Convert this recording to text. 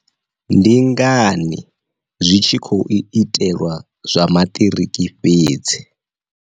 Ndi ngani zwi tshi khou itelwa zwa maṱiriki fhedzi.